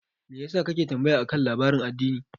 Me yasa kake tambaya akan labarin addini?